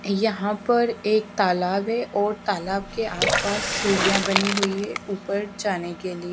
यहां पर एक तालाब है और तालाब के आस पास सीढ़ियां बनी हुई है ऊपर जाने के लिए।